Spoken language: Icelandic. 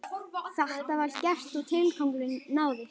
Þetta var gert og tilgangurinn náðist.